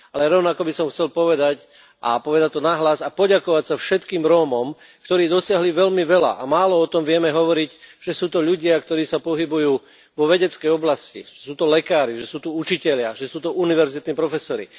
Rovnako by som však chcel povedať, povedať to nahlas a poďakovať sa všetkým Rómom, ktorí dosiahli veľmi veľa a málo o tom vieme hovoriť že sú to ľudia, ktorí sa pohybujú vo vedeckej oblasti, že sú to lekári, že sú to učitelia, že sú to univerzitní profesori.